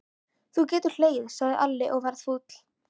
Þú getur hlegið, sagði Alli og var fúll.